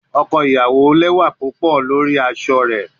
Ọkọ iyawo jẹ lẹwa pupọ pẹlu aṣọ rẹ lori